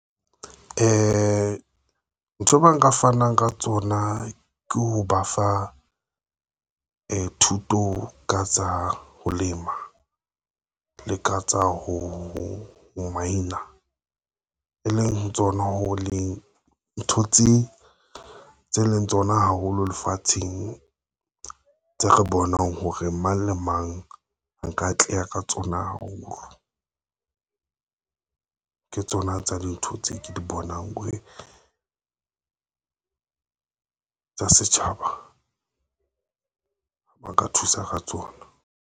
Ntho e nka fanang ka tsona ke ho ba fa thuto ka tsa ho lema le ka tsa ho maina e leng ho tsona ho le ntho tse leng tsona haholo lefatsheng tse re bonang hore mang le mang nka atleha ka tsona haholo, ke tsona tsa dintho tse ke di bonang. Uwe tsa setjhaba ba ka thusa ka tsona